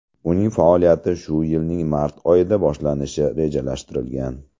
Uning faoliyati shu yilning mart oyida boshlanishi rejalashtirilgan.